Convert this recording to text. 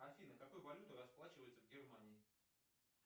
афина какой валютой расплачиваются в германии